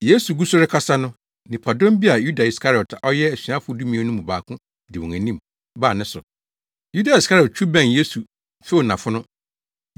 Yesu gu so rekasa no, nnipadɔm bi a Yuda Iskariot a ɔyɛ asuafo dumien no mu baako di wɔn anim baa ne so. Yuda Iskariot twiw bɛn Yesu few nʼafono.